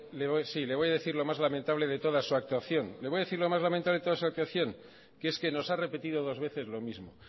sí le voy a decir lo más lamentable de toda su actuación le voy a decir lo más lamentable de toda su actuación que es que nos ha repetido dos veces lo mismo